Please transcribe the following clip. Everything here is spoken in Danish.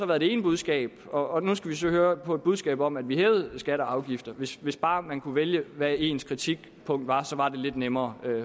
været det ene budskab og nu skal vi så høre på et budskab om at vi hævede skatter og afgifter hvis hvis bare man kunne vælge hvad ens kritikpunkt var var det lidt nemmere